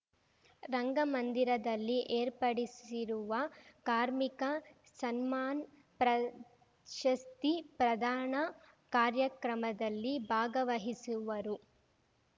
ರಂಗಮಂದಿರದಲ್ಲಿ ಏರ್ಪಡಿಸಿರುವ ಕಾರ್ಮಿಕ ಸನ್ಮಾನ್‌ ಪ್ರಶಸ್ತಿ ಪ್ರದಾನ ಕಾರ್ಯಕ್ರಮದಲ್ಲಿ ಭಾಗವಹಿಸುವರು